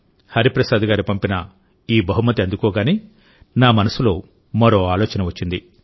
హరిప్రసాద్ గారు పంపిన ఈ బహుమతి అందుకోగానే నా మనసులో మరో ఆలోచన వచ్చింది